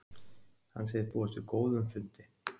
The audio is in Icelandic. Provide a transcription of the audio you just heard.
Hann segist búast við góðum fundi